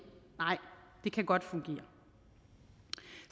nej det kan godt fungere